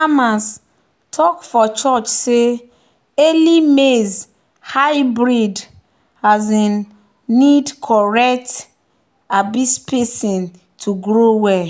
"farmers talk for church say early maize hybrid um need correct um spacing to grow well."